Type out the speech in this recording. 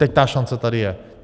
Teď ta šance tady je.